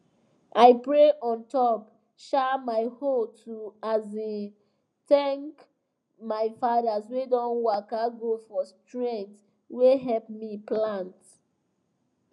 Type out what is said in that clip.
i pray on top um my hoe to um thank my fathers wey don waka go for strength wey help me plant